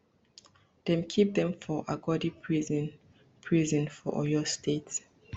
dem keep dem for agodi prison prison for oyo state